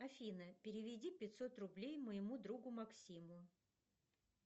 афина переведи пятьсот рублей моему другу максиму